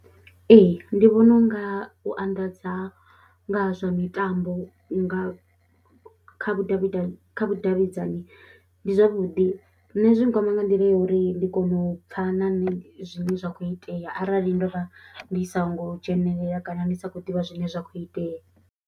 Ee, ndi vhona u nga u anḓadza nga zwa mitambo nga kha vhudavhidavhi, kha vhudavhidzani ndi zwavhuḓi, nṋe zwi nkwama nga nḓila ya uri ndi kona u pfha na nṋe zwine zwa khou itea arali ndo vha ndi songo dzhenelela kana ndi sa khou ḓivha zwine zwa khou itea.